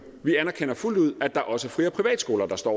vi anerkender fuldt ud at der også er fri og privatskoler der står